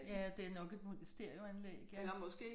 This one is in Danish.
Ja det nok et stereoanlæg ja